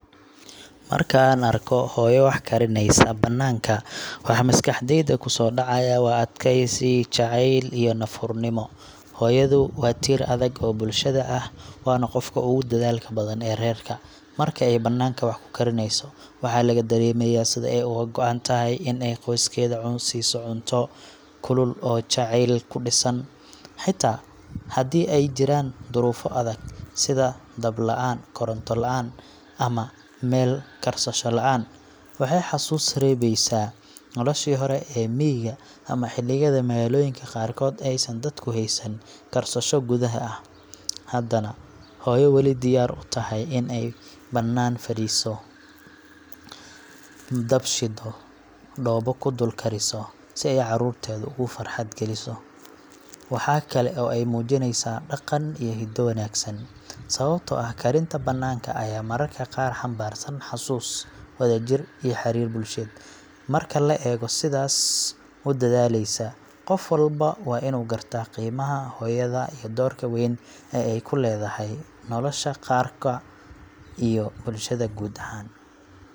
Markaan arko hooyo wax karineysa bannaanka, waxa maskaxdayda kusoo dhacaya waa adkaysi, jacayl iyo naf-hurnimo. Hooyadu waa tiir adag oo bulshada ah, waana qofka ugu dadaalka badan ee reerka. Marka ay banaanka wax ku karinayso, waxaa laga dareemayaa sida ay uga go’an tahay in ay qoyskeeda siiso cunto kulul oo jacayl ku dhisan, xitaa haddii ay jiraan duruufo adag sida dab la’aan, koronto la’aan, ama meel karsasho la’aan. Waxay xusuus reebeysaa noloshii hore ee miyiga ama xilliyada magaalooyinka qaarkood aysan dadku haysan karsasho gudaha ah, haddana hooyo weli diyaar u tahay in ay bannaan fadhiso, dab shido, dhoobo ku dul kariso, si ay carruurteeda ugu farxad geliso. Waxaa kale oo ay muujineysaa dhaqan iyo hiddo wanaagsan, sababtoo ah karinta bannaanka ayaa mararka qaar xambaarsan xusuus, wadajir, iyo xiriir bulsheed. Marka la eego hooyo sidaas u dadaaleysa, qof walba waa inuu garto qiimaha hooyada iyo doorka weyn ee ay ku leedahay nolosha qoyska iyo bulshada guud ahaan.